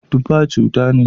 Tufa cuta ne.